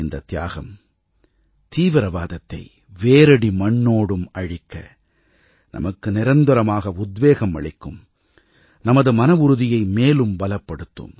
இந்தத் தியாகம் தீவிரவாதத்தை வேரடி மண்ணோடும் அழிக்க நமக்கு நிரந்தரமாக உத்வேகம் அளிக்கும் நமது மனவுறுதியை மேலும் பலப்படுத்தும்